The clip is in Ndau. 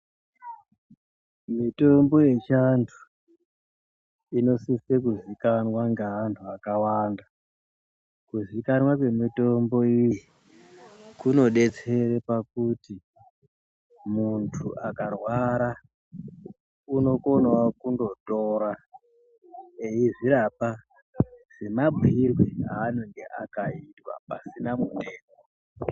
Mitombo yechiantu inosise kuzikanwa ngeantu akawanda. Kuzikanwa kwemitombo iyi kunodetsera pakuti muntu akarwara unokonawo kundotora eizvirapa semabhuirwe anenge akaitwa pasina mutengo.